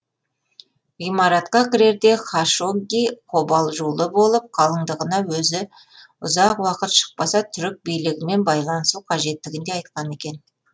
ғимаратқа кірерде хашогги қобалжулы болып қалыңдығына өзі ұзақ уақыт шықпаса түрік билігімен байланысу қажеттігін де айтқан екен